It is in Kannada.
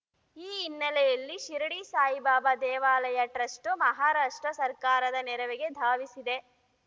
ಈ ಹಿನ್ನೆಲೆಯಲ್ಲಿ ಶಿರಡಿ ಸಾಯಿಬಾಬಾ ದೇವಾಲಯ ಟ್ರಸ್ಟು ಮಹಾರಾಷ್ಟ್ರ ಸರ್ಕಾರದ ನೆರವಿಗೆ ಧಾವಿಸಿದೆ